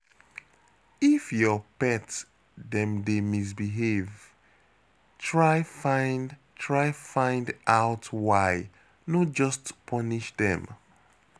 If your pet dem dey misbehave, try find try find out why, no just punish dem